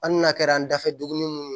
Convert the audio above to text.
Hali n'a kɛra an dafɛ duguni minnu ye